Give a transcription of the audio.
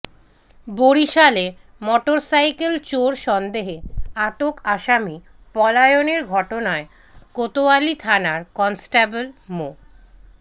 বরিশালে মোটরসাইকেল চোর সন্দেহে আটক আসামি পলায়নের ঘটনায় কোতোয়ালী থানার কনস্টেবল মো